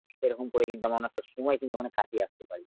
এরকম করে কিন্তু আমরা অনেকটা সময় কিন্তু মানে কাটিয়ে আসতে পারি।